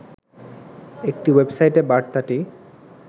একটি ওয়েবসাইটে বার্তাটি